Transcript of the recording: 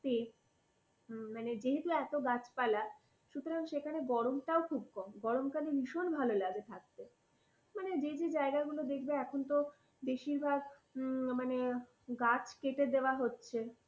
যেহেতু এত গাছপালা সুতরাং সেখানে গরমটাও খুব কম। গরমকালে ভীষণ ভালো লাগে থাকতে। মানে যে যে জায়গাগুলো দেখবে এখন তো বেশিরভাগ মানে গাছ কেটে দেয়া হচ্ছে।